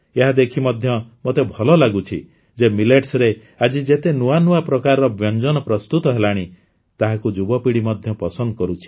ଏହା ଦେଖି ମଧ୍ୟ ମୋତେ ଭଲ ଲାଗୁଛି ଯେ ମିଲେଟ୍ସରେ ଆଜି ଯେତେ ନୂଆ ନୂଆ ପ୍ରକାରର ବ୍ୟଞ୍ଜନ ପ୍ରସ୍ତୁତ ହେଲାଣି ତାହାକୁ ଯୁବ ପିଢ଼ି ମଧ୍ୟ ପସନ୍ଦ କରୁଛି